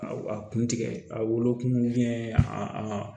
A a kun tigɛ a wolokun a